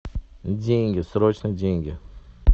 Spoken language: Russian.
деньги срочно деньги